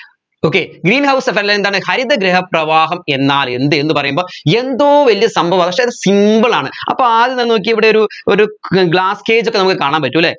okaygreenhouse effect എന്താണ് ഹരിതഗൃഹ പ്രവാഹം എന്നാൽ എന്ത് പറയുമ്പോ എന്തോ വലിയ സംഭവാ പക്ഷേ അത് simple ആണ് അപ്പോ ആദ്യം എന്താണെന്ന് നോക്കിയേ ഇവിടെ ഒരു ഒരു glass cage ഒക്കെ നമ്മക്ക് കാണാൻ പറ്റു അല്ലെ